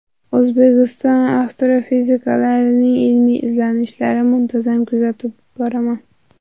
O‘zbekiston astrofiziklarining ilmiy izlanishlarini muntazam kuzatib boraman.